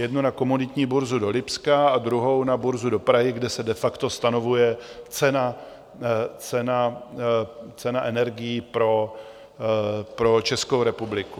Jednu na komoditní burzu do Lipska a druhou na burzu do Prahy, kde se de facto stanovuje cena energií pro Českou republiku.